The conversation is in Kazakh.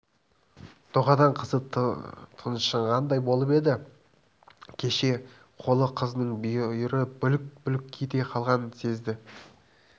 дұғадан қызы тыншығандай болып еді шеше қолы қызының бүйірі бүлк-бүлк ете қалғанын сезді